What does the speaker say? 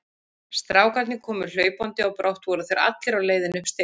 Strákarnir komu hlaupandi og brátt voru þeir allir á leiðinni upp stigann.